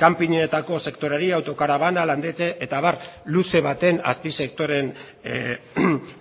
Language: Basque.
kanpinetako sektoreari autokarabana landetxe eta abar luze baten azpisektoreen